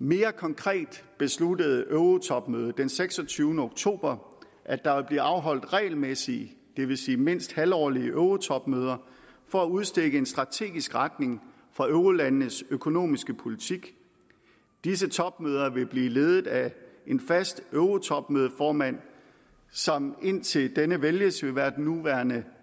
mere konkret besluttede eurotopmødet den seksogtyvende oktober at der vil blive afholdt regelmæssige det vil sige mindst halvårlige eurotopmøder for at udstikke en strategisk retning for eurolandenes økonomiske politik disse topmøder vil blive ledet af en fast eurotopmødeformand som indtil denne vælges vil være den nuværende